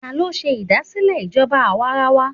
Ta ló ṣe ìdásílẹ̀ ìjọba àwarawa?